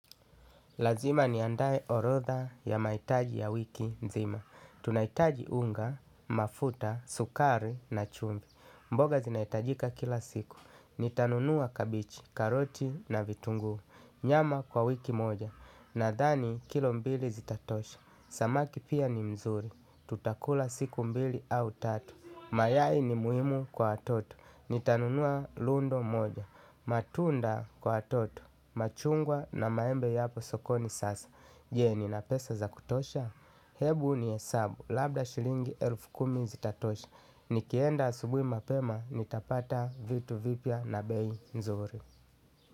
Lazima niandae orodha ya maitaji ya wiki mzima. Tunaitaji unga, mafuta, sukari na chumvi. Mboga zinaitajika kila siku. Nitanunua kabichi karoti na vitunguu. Nyama kwa wiki moja. Nadhani kilo mbili zitatosha. Samaki pia ni mzuri. Tutakula siku mbili au tatu. Mayai ni muhimu kwa watoto. Nitanunua lundo moja. Matunda kwa atoto. Machungwa na maembe yapo sokoni sasa je nina pesa ya kutosha. Hebu nihesabu. Labda shilingi elfu kumi zitatosha. Nikienda asubui mapema nitapata vitu vipya na bei nzuri.